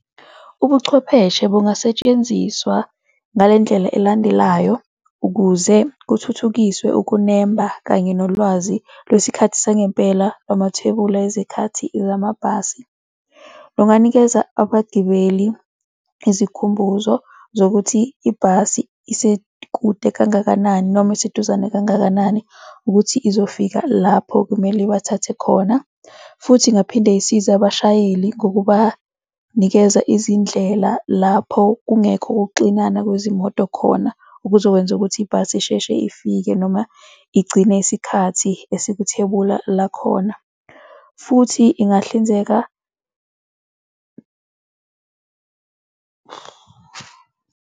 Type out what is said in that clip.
Ubuchwepheshe bungasetshenziswa ngale ndlela elandelayo ukuze kuthuthukiswe ukunemba kanye nolwazi lwesikhathi sangempela lwamathebula ezikhathi zamabhasi. Lunganikeza abagibeli izikhumbuzo zokuthi ibhasi isekude kangakanani noma iseduzane kangakanani ukuthi izofika lapho kumele ibathathe khona, futhi ingaphinde isize abashayeli ngokubanikeza izindlela lapho kungekho ukuxinana kwezimoto khona okuzokwenza ukuthi ibhasi isheshe ifike noma igcine isikhathi esikuthebula lakhona futhi ingahlinzeka.